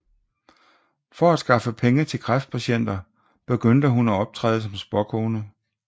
For at skaffe penge til kræftpatienter begyndte hun at optræde som spåkone